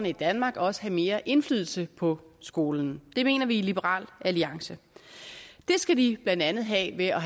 i danmark også have mere indflydelse på skolen det mener vi i liberal alliance det skal de blandt andet have ved at